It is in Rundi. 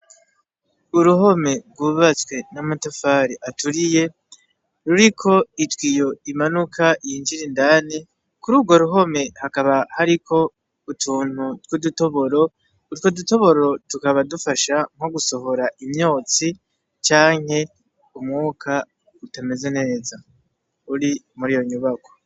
Uruhome rwubatswe n'amatafari aturiye ruriko itiyo imanuka yinjira indani, kururwo ruhome hakaba hariko utuntu twudutoboro, utwo dutoboro tukaba dufasha nko gusohora imyotsi canke umwuka utameze neza, uri muriyo nyubakwa.